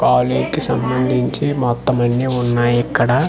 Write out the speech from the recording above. ఆలీకి సంబందించి మొత్తం అన్నీ వున్నాయి ఇక్కడ.